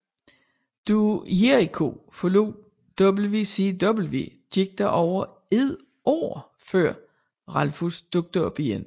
Da Jericho forlod WCW gik der over et år før Ralphus dukkede op igen